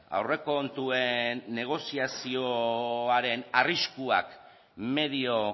aurrekontuen negoziazioaren arriskuak medio